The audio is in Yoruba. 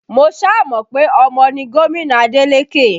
Mo sá mọ pe ọmọ ni gomina Adeleke